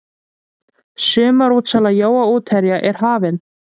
Sumarútsala jóa útherja er hafin.